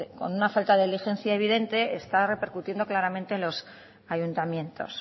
con una falta de diligencia evidente está repercutiendo claramente en los ayuntamientos